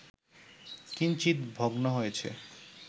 কিঞ্চিত ভগ্ন হয়েছে